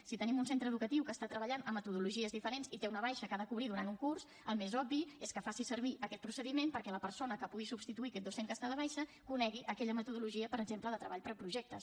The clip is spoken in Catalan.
si tenim un centre educatiu que està treballant amb metodologies diferents i té una baixa que ha de cobrir durant un curs el més obvi és que faci servir aquest procediment perquè la persona que pugui substituir aquest docent que està de baixa conegui aquella metodologia per exemple de treball per projectes